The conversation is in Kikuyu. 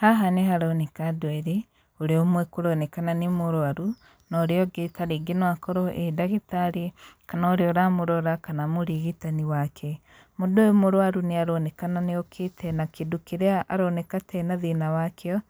Haha nĩ haroneka andũ eerĩ, ũrĩa ũmwe kũronekana nĩ mũrwaru, na ũrĩa ũngĩ tarĩngĩ no akorwo ee ndagĩtarĩ, kana ũrĩa ũramũrora kana mũrigitani wake. Mũndũ ũyũ mũrwaru nĩ aronekana nĩ okĩte na kĩndũ kĩrĩa aroneka ta ena thĩna wa kĩo,